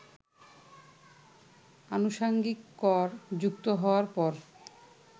আনুষঙ্গিক কর যুক্ত হওয়ার পর